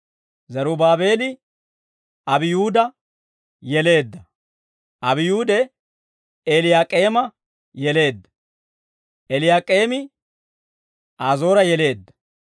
Zerubaabeeli, Abiyuuda yeleedda; Abiyuude, Eeliyaak'eema yeleedda; Eeliyaak'eemi, Azoora yeleedda.